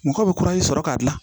Mɔgɔ bɛ sɔrɔ k'a dilan